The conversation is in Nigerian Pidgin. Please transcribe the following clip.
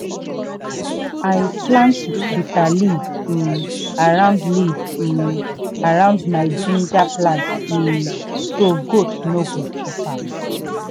i plant bitter leaf um around leaf um around my ginger plant um so goat no go chop am.